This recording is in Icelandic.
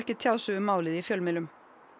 tjá sig um málið í fjölmiðlum